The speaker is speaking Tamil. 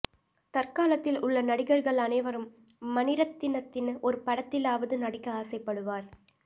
தற்காலத்தில் உள்ள நடிகர்கள் அனைவரும் மணிரத்னத்தின் ஒரு படத்திலாவது நடிக்க ஆசைப்படுவர்